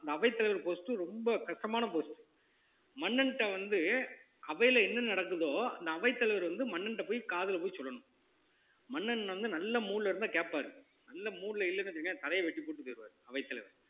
இந்த அவைத்தலைவர் post ரொம்ப கஷ்டமான post மன்னன்ட்ட வந்து அவையிலே என்ன நடக்குதோ அந்த அவைத்தலைவர் வந்து மன்னன்கிட்ட போய் காதுல போய் சொல்லணும் மன்னன் வந்து நல்ல mood ல இருந்தா கேப்பாரு நல்ல mood ல இல்லைன்னு வச்சுக்கோங்க தலையை வெட்டிப் போட்டுட்டு போயிடுவாரு அவைத்தலைவர்